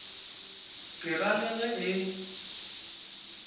ke ra le ge e